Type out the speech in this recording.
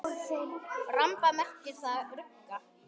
Ramba merkir þar rugga.